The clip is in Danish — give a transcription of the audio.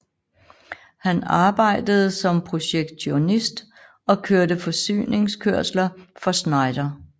Han arbejdede som projektionist og kørte forsyninskørsler for Schneider